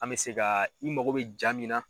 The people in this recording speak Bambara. An be se ka i mago bɛ ja min na